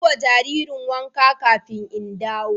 Yi ma jaririn wanka ƙafin in dawo.